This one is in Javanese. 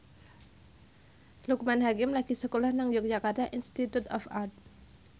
Loekman Hakim lagi sekolah nang Yogyakarta Institute of Art